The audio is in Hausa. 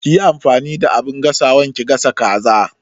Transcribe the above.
Kiyi amfani da abin gasawan ki gasa kaza